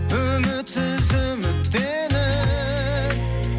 үмітсіз үміттеніп